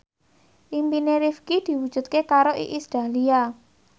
impine Rifqi diwujudke karo Iis Dahlia